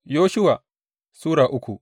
Yoshuwa Sura uku